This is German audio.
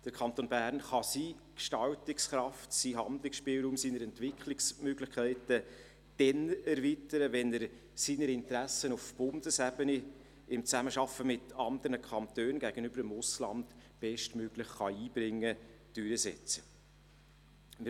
Der Kanton Bern kann seine Gestaltungskraft, seinen Handlungsspielraum und seine Entwicklungsmöglichkeiten dann erweitern, wenn er seine Interessen auf Bundesebene, in der Zusammenarbeit mit anderen Kantonen sowie gegenüber dem Ausland bestmöglich einbringen und durchsetzen kann.